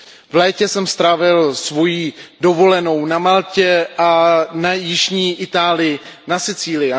V létě jsem strávil svoji dovolenou na Maltě a v jižní Itálii na Sicílii.